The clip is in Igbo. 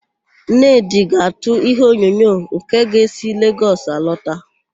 Nnedị ga-àtụ́ íhéonyonyo nke ga-esi Legọs alọta.